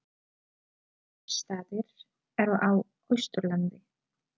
Egilsstaðir eru á Austurlandi.